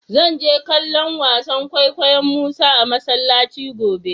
Zan je kallo'n wasan kwaikwayo'n Musa a masallaci gobe.